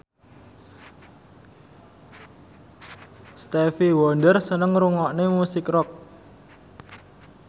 Stevie Wonder seneng ngrungokne musik rock